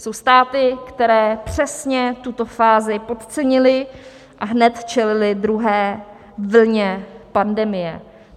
Jsou státy, které přesně tuto fázi podcenily a hned čelily druhé vlně pandemie.